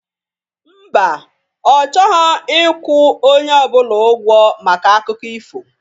Mba, ọ chọghọ ịkwụ onye ọbụla ịgwọ maka akụkọ ifo